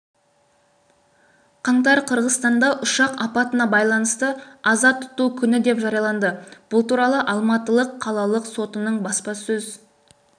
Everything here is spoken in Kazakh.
қаңтар қырғыстанда ұшақ апатына байланысты аза тұту күні деп жарияланды бұл туралы алматы қалалық сотының баспасөз